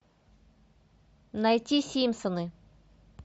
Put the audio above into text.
найти симпсоны